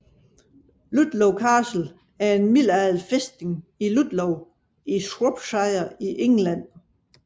Ludlow Castle er en middelalderfæstning i Ludlow i Shropshire i England